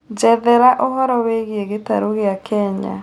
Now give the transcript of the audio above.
njerethera ũhoro wĩigie gĩtarũ gĩa kenya